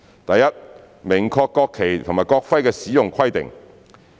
第一，明確國旗及國徽的使用規定。